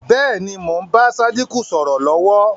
Bẹ́ẹ̀ ni, mo ń bá Sádíkù sọ̀rọ̀ lọ̀wọ̀